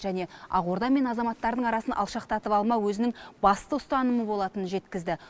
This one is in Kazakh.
және ақорда мен азаматтардың арасын алшақтатып алмау өзінің басты ұстанымы болатынын жеткізді